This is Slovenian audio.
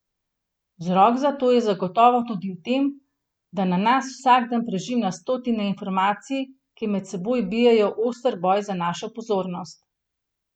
Vzrok za to je zagotovo tudi v tem, da na nas vsak dan preži na stotine informacij, ki med seboj bijejo oster boj za našo pozornost.